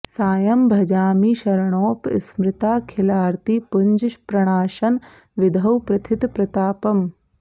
सायं भजामि शरणोप स्मृताखिलार्ति पुञ्ज प्रणाशन विधौ प्रथित प्रतापम्